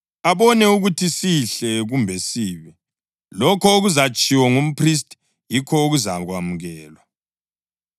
abone ukuthi sihle kumbe sibi. Lokho okuzatshiwo ngumphristi yikho okuzakwamukelwa.